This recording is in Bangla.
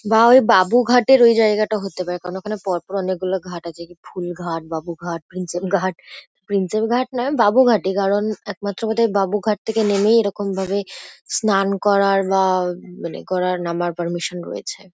বা ওই বাবুঘাটের ওই জায়গাটা হতে পারে কারণ ওখানে পর পর অনেকগুলো ঘাট আছে। ফুলঘাট বাবুঘাট প্রিন্সেপ ঘাট। প্রিন্সেপ ঘাট নয় বাবুঘাটই কারণ একমাত্র বোধ হয় বাবুঘাট থেকে নেমেই এরকমভাবে স্নান করার বা উম মানে করার নামার পারমিশন রয়েছে।